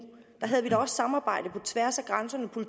havde vi da også samarbejde på tværs af grænserne